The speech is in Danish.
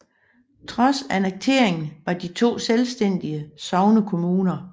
Trods annekteringen var de to selvstændige sognekommuner